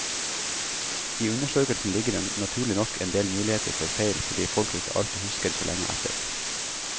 I undersøkelsen ligger det naturlig nok en del muligheter for feil fordi folk ikke alltid husker så lenge etter.